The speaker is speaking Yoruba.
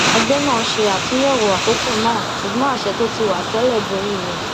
ẹgbẹ náà ṣe àtúnyẹwọ àkókò náà ṣùgbọn àṣẹ tí ó ti wà tẹlẹ borí rẹ